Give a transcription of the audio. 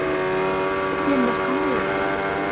Tender qanday o‘tdi?